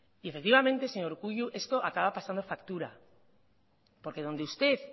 y efectivamente señor urkullu esto acaba pasando factura porque donde usted